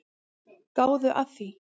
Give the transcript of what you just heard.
Gáðu að því.